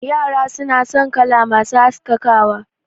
Yara suna son kala masu haskakawa